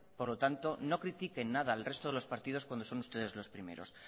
por lo tanto no critiquen nada al resto de los partidos cuando son ustedes los primeros